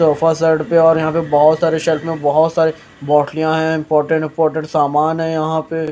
sofa set पे और यहाँ पे बहोत सारे शेल्फ मे बहोत सारे बोटलिया है इम्पोर्टेन्ट इम्पोर्टेन्ट समान है यहाँ पे --